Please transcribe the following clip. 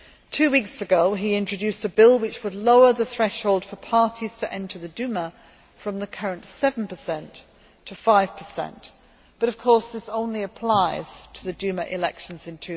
Two weeks ago, he introduced a bill which would lower the threshold for parties to enter the Duma from the current 7 to 5 but, of course, this only applies to the Duma elections in